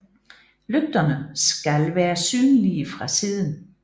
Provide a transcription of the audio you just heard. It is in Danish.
Lygterne skal være synlige fra siden